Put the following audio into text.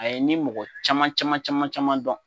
A ye ni mɔgɔ caman caman caman caman dɔn